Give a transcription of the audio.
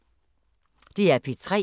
DR P3